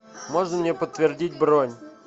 можно мне подтвердить бронь